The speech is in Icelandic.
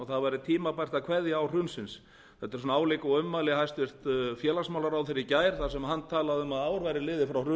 það væri tímabært að kveðja ár hrunsins þetta eru álíka ummæli og hæstvirtur félagsmálaráðherra í gær þar sem hann talaði um að ár væri liðið